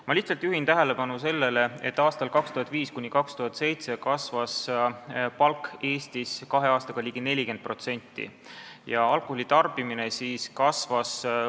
Ma lihtsalt juhin tähelepanu, et aastail 2005–2007 kasvas palk Eestis kahe aastaga ligi 40% ja alkoholi tarbimine kasvas.